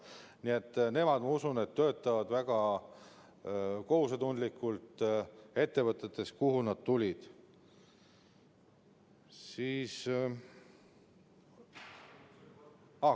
Nii et nemad, ma usun, töötavad väga kohusetundlikult ettevõtetes, kuhu nad tulid.